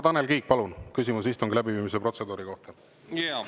Tanel Kiik, palun, küsimus istungi läbiviimise protseduuri kohta!